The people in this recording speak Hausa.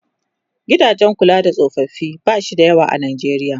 gidajen kula da tsofaffi bashi da yawa a Najeriya